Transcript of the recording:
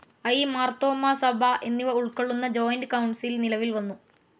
I., Marthoma സഭ എന്നിവ ഉൾക്കൊള്ളുന്ന ജോയിന്റ്‌ കൌൺസിൽ നിലവിൽ വന്നു.